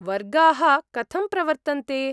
वर्गाः कथं प्रवर्तन्ते?